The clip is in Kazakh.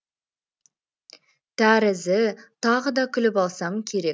тәрізі тағы да күліп алсам керек